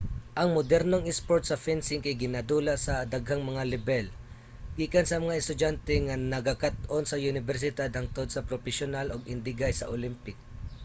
ang modernong isport sa fencing kay ginadula sa daghang mga lebel gikan sa mga estudyante nga nagakat-on sa unibersidad hangtod sa propesyonal ug indigay sa olympic